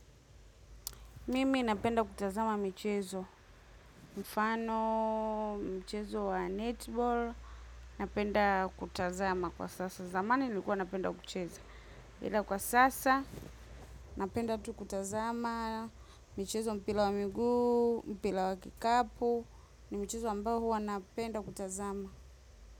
Mimi napenda kutazama michezo, mfano, michezo wa netball, napenda kutazama kwa sasa. Zamani nilikuwa napenda kucheza. Ila kwa sasa, napenda tu kutazama, michezo mpira wa miguu, mpira wa kikapu, ni michezo ambao huwa napenda kutazama.